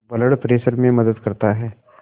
blood pressure में मदद करता है